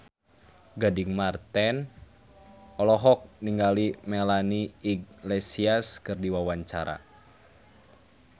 Gading Marten olohok ningali Melanie Iglesias keur diwawancara